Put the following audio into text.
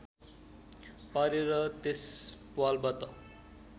पारेर त्यस प्वालबाट